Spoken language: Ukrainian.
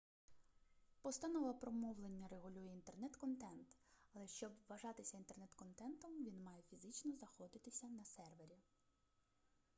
постанова про мовлення регулює інтернет-контент але щоб вважатися інтернет-контентом він має фізично знаходитися на сервері